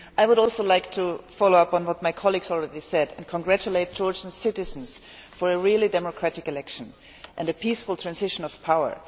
I would also like to follow up on what my colleagues have already said and congratulate Georgian citizens on a really democratic election and a peaceful transition of power.